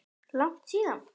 Langt síðan?